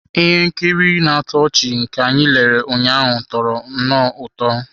Ihe nkiri na-atọ ọchị nke anyị lere ụnyaahụ tọrọ nnọọ ụtọ.